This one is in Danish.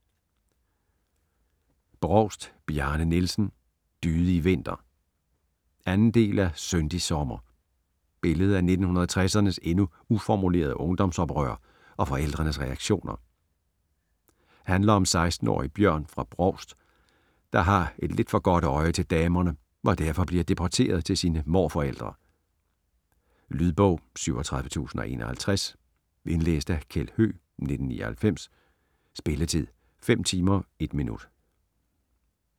Brovst, Bjarne Nielsen: Dydig vinter 2. del af Syndig sommer. Billede af 1960'ernes endnu uformulerede ungdomsoprør og forældrenes reaktioner. Handler om 16-årige Bjørn fra Brovst, der har et lidt for godt øje til damerne og derfor bliver deporteret til sine morforældre. Lydbog 37051 Indlæst af Kjeld Høegh, 1999. Spilletid: 5 timer, 1 minutter.